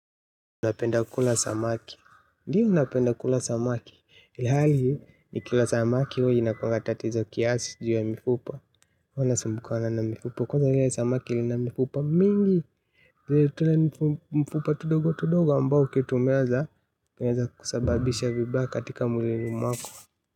Unapenda kula samaki? Ndio napenda kula samaki, ilihali nikila samaki huwa inakuanga tatizo kiasi juu ya mifupa huwa nasumbukana na mifupa. Kwaza lile samaki lina mifupa mingi, ya mifupa tudogo tudogo ambao ukitumeza, inaeza kusababisha vibaya katika mwilini mwako.